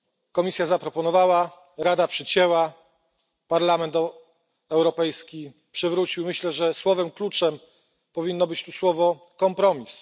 Komisja zaproponowała, Rada przycięła, Parlament Europejski przywrócił. Myślę, że słowem kluczem powinien być tu kompromis.